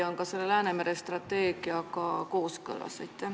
Kas see on Läänemere strateegiaga kooskõlas?